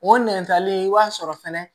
O nɛn talen i b'a sɔrɔ fɛnɛ